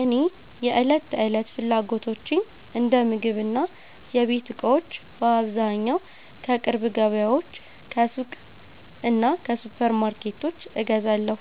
እኔ የዕለት ተዕለት ፍላጎቶቼን እንደ ምግብና የቤት እቃዎች በአብዛኛው ከቅርብ ገበያዎች፣ ከሱቆች እና ከሱፐርማርኬቶች እገዛለሁ።